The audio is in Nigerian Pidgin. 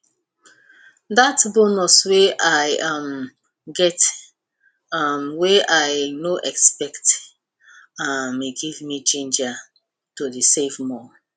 that bonus wey i um get um wey i no expect um give me ginger to dey save more